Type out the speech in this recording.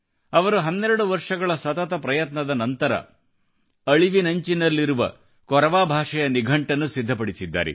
ಅವರು 12 ವರ್ಷಗಳ ಸತತ ಪ್ರಯತ್ನದ ನಂತರ ಅಳಿವಿನಂಚಿನಲ್ಲಿರುವ ಕೊರವಾ ಭಾಷೆಯ ನಿಘಂಟನ್ನು ಸಿದ್ಧಪಡಿಸಿದ್ದಾರೆ